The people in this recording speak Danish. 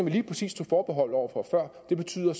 lige præcis tog forbehold over for før og det betyder